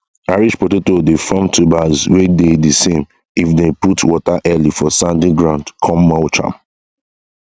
irish potato dey form tubers wey dey desame if dey put water early for sandy ground come mulch am